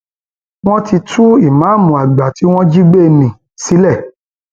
wọn ti tú ìmáàmù àgbà tí wọn jí gbé ní úso sílẹ